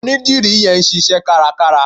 Onídìrí yẹn ń ṣíṣẹ́ kárakára.